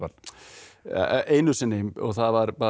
einu sinni það var bara